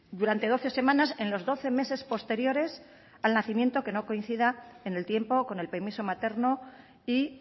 durante doce semanas en los doce meses posteriores al nacimiento que no coincida en el tiempo con el permiso materno y